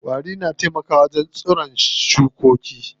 Ƙwari na taimaka wa wajen lafiyar tsiron shukoki.